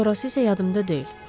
Sonrası isə yadımda deyil.